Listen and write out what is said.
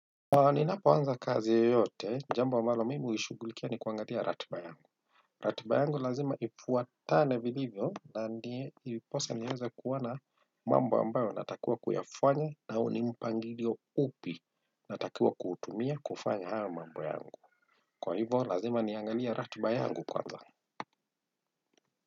Ninapo anza kazi yeyote, jambo ambalo mimi huishughulikia ni kuangalia ratiba yangu. Ratiba yangu lazima iduatane vilivyo na ndiposa niweze kuona mambo ambayo natakiwa kuyafanya au ni mpangilio upi natakiwa kutumia kufanya hayo mambo yangu. Kwa hivo, lazima niangalie ratiba yangu kwanza.